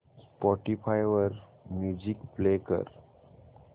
Spotify वर music play कर